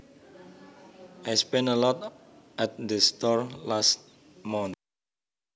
I spent a lot at that store last month